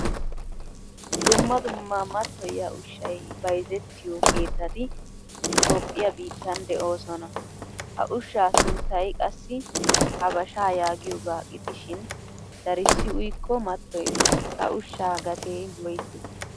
Dumma dumma mattoyiya ushshay bayzzettiyo keettatti toophphiyaa biittan deosona. Ha ushsha sunttay qassi habasha yaagiyoga gidishin darisi uyikko matoyees. Ha ushsha gatee woysse?